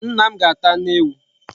Nna m ga-ata anu ewu